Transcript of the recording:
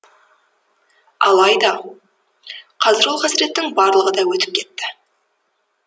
алайда қазір ол қасіреттің барлығы да өтіп кетті